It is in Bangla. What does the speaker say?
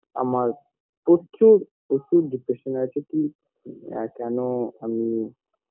আমার প্রচুর প্রচুর depression এ আছি কি এ কেনো আমি